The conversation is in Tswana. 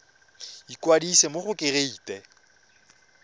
ikwadisa mo go kereite r